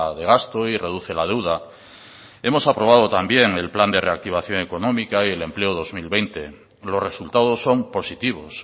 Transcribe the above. de gasto y reduce la deuda hemos aprobado también el plan de reactivación económica y el empleo dos mil veinte los resultados son positivos